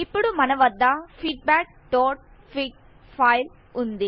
ఇప్పుడు మన వద్ద feedbackఫిగ్ ఫైల్ వుంది